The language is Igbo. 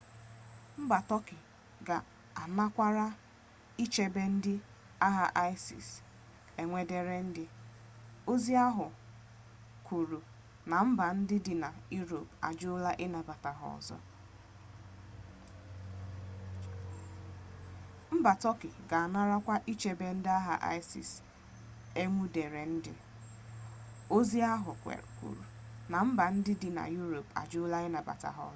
mba turkey ga-anarakwa ichebe ndị agha isis enwudere ndị ozi ahụ kwuru na mba ndị dị na europe ajụla ịnabata ha ọzọ